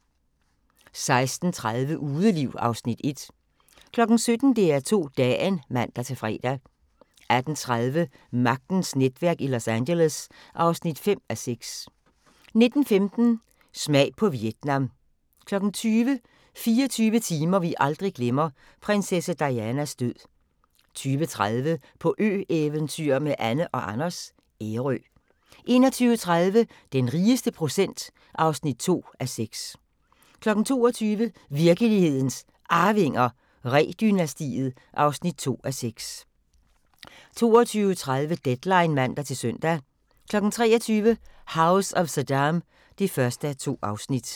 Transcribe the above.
16:30: Udeliv (Afs. 1) 17:00: DR2 Dagen (man-fre) 18:30: Magtens netværk i Los Angeles (5:6) 19:15: Smag på Vietnam 20:00: 24 timer vi aldrig glemmer: Prinsesse Dianas død 20:30: På ø-eventyr med Anne & Anders - Ærø 21:30: Den rigeste procent (2:6) 22:00: Virkelighedens Arvinger: Ree-dynastiet (2:6) 22:30: Deadline (man-søn) 23:00: House of Saddam (1:2)